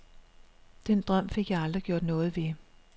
Den drøm fik jeg aldrig gjort noget ved.